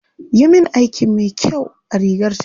Yi min aiki mai kyau a rigar tawa.